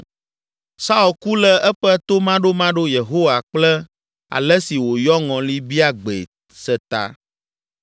Saul ku le eƒe tomaɖomaɖo Yehowa kple ale si wòyɔ ŋɔli bia gbee se ta.